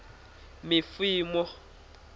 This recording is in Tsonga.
mifumo